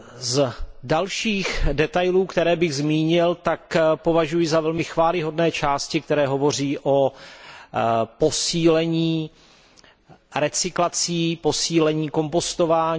Z dalších detailů, které bych zmínil, tak považuji za velmi chvályhodné části, které hovoří o posílení recyklací, posílení kompostování.